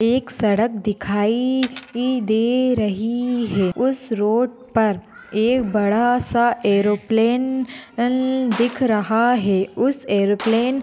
एक सड़क दिखाई दे रही है। उस रोड पर एक बड़ासा एरोप्लेन न दिख रहा है। उस एरोप्लेन --